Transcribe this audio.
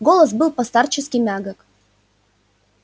голос был по-старчески мягок